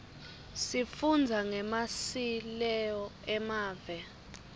sifundza ngemasileo emave